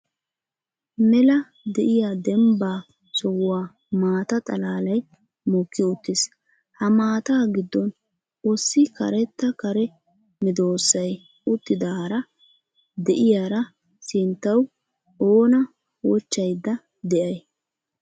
Mela de'iya dembba sohuwa maata xalaalay mokki uttiis. Ha maata giddon ossi karetta kare medoosiya uttidaara de'iyaara sinttaw oona wochchaydda de'ay?